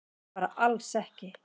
Bara alls ekki.